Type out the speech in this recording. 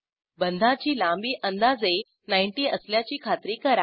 बंधाची लांबी अंदाजे 90 असल्याची खात्री करा